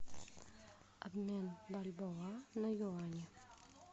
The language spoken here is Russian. обмен бальбоа на юани